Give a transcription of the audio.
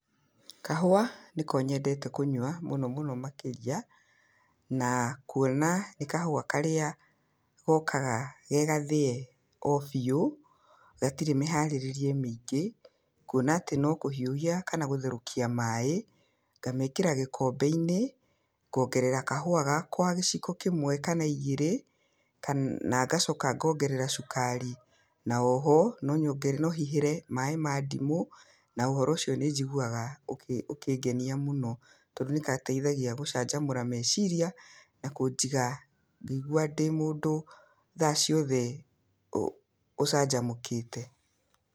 Kahũa nĩko nyendete kũnyua mũno mũno makĩria. Na kuona nĩ kahũa karĩa gokaga ge gathĩe o biũ gatirĩ mĩharĩrĩrie mĩingĩ, kuona atĩ no kũhiũhia, kana gũtherũkia maĩ ngamekĩra gĩkombe-inĩ, ngongerera kahũa gakwa giciko kĩmwe kana igĩrĩ, na ngacoka ngongerera cukari. Na oho no nyongere, no hihĩre maĩ ma ndimũ, na ũhoro ũcio nĩ njiguaga ũkĩngenia mũno, tondũ nĩ gateithagia gũcanjamũra meciria, na kũnjiga ngĩigua ndĩ mũndũ tha ciothe ũcanjamũkĩte.